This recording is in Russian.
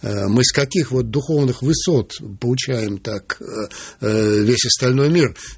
мы с каких духовных высот получаем так весь остальной мир